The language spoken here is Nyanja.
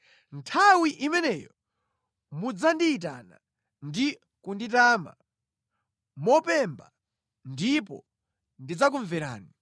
Nthawi imeneyo mudzandiyitana, ndi kunditama mopemba ndipo ndidzakumverani.